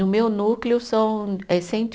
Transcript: No meu núcleo são eh cento e